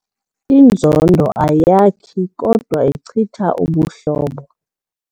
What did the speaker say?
Inzondo ayakhi kodwa ichitha ubuhlobo.